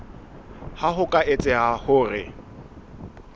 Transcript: ha ho ka etseha hore